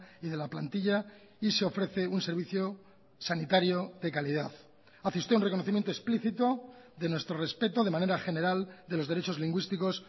y de la plantilla y se ofrece un servicio sanitario de calidad hace usted un reconocimiento explícito de nuestro respeto de manera general de los derechos lingüísticos